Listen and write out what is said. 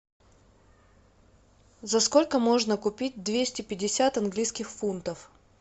за сколько можно купить двести пятьдесят английских фунтов